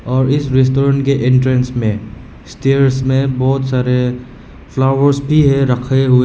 और इस रेस्टोरेंट के एंट्रेंस में स्टेयर्स में बहोत सारे फ्लावर्स भी है रखे हुए।